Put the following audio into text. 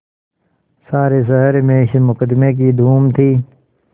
सारे शहर में इस मुकदमें की धूम थी